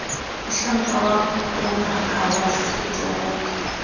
mohlanka wa bongaka wa setereke